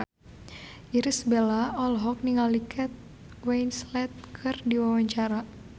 Irish Bella olohok ningali Kate Winslet keur diwawancara